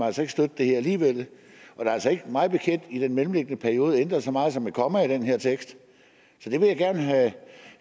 altså ikke støtte det her alligevel men i den mellemliggende periode er ændret så meget som et komma i den her tekst så det vil jeg gerne have